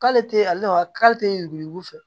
K'ale tɛ ale lawa k'ale tɛ yurugu yugu fɛ